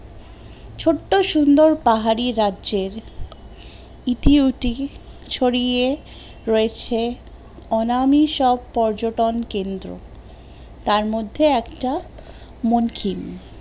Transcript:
বড্ডো সুন্দর পাহাড়ি রাজ্যের ইথি ওতি ছড়িয়ে রয়েছে অনামি সব পাহাড়ি রাজ্য তার মধ্যে একটা মনকিন